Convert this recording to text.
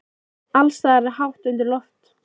Alls staðar er hátt undir loft.